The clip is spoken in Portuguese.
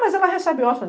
Mas ela recebe.